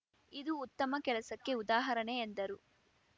ಇದು ಉತ್ತಮ ಕೆಲಸಕ್ಕೆ ಉದಾಹರಣೆ ಎಂದರು